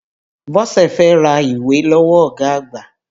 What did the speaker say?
Bọ́sẹ̀ fẹ́ ra ìwé lọ́wọ́ ọ̀gá àgbà.